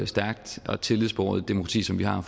stærkt og tillidsbåret et demokrati som vi har